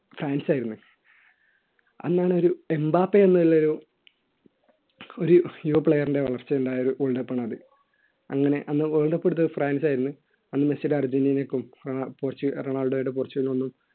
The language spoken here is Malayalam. ഫ്രാൻസ് ആയിരുന്നു അന്നാണ് ഒരു എംബാപ്പ എന്നുള്ള ഒരു ഒരു യുവ player ന്റെ വളർച്ച ഉണ്ടായ ഒരു world cup ആണത് അങ്ങനെ അന്ന് world cup എടുത്ത് ഫ്രാൻസ് ആയിരുന്നു അന്ന് മെസ്സിയുടെ അർജൻറീനക്കും പോർച്ചുഗൽ ആ റൊണാൾഡോയുടെ പോർച്ചുഗലുംഒന്നും